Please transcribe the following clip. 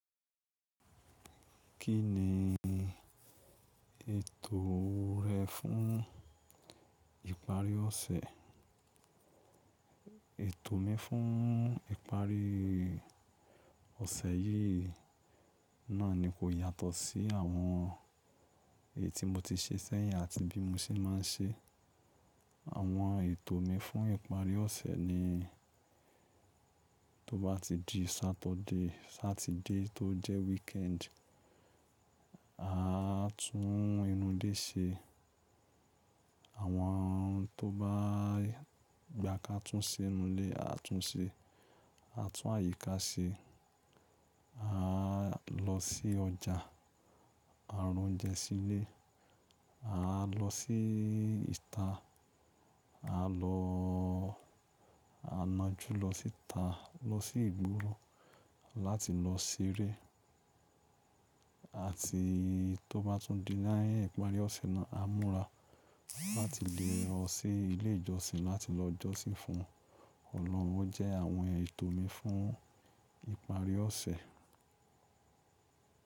Kí ni ètò rẹ fún ìparí ọ̀sẹ̀? Ètò mi fún ìparí ọ̀sẹ̀ yìí náà ni kò yàtọ̀ sí àwọn èyí tí mo ti ṣe sẹ́yìn àti bí mo ṣe máa ń ṣe. Àwọn ètò mi fún ìparí ọ̀sẹ̀ ni tó bá ti di Saturday, Satide tó jẹ́ weekend, a tún inú ilé ṣe. Àwọn ohun tó bá gba ká tún ṣe nú'lé, a tún ṣe. A tún àyíká ṣe. A lọ sí ọjà, a rá oúnjẹ sí ilé. A lọ sí ìta. A lọ-- a ńá jú lọ síta lọ sí ìgboro láti lọ ṣeré. Àti tó bá tún di ni ìparí ọ̀sẹ̀ náà, a múra láti lè lọ sí ilé ìjọsìn láti lọ jọ́sìn fún Ọlọ́run. O jẹ́ àwọn ètò mi fún ìparí ọ̀sẹ̀.